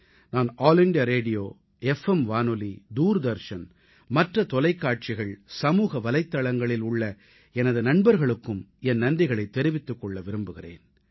நான் All India Radio F M வானொலி தூர்தர்ஷன் மற்ற தொலைக்காட்சிகள் சமூக வலைத்தளங்களில் உள்ள எனது நண்பர்களுக்கும் என் நன்றிகளைத் தெரிவித்துக் கொள்ள விரும்புகிறேன்